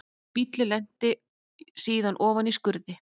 Bíllinn lenti síðan ofan í skurði